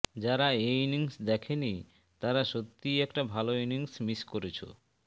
যারা এই ইনিংস দেখেনি তারা সত্যিই একটা ভালো ইনিংস মিস করেছে